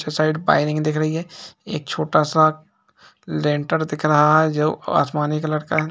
Side wiring दिख रही है एक छोटा सा लेंटर दिख रहा है जो अ-आसमानी कलर का है।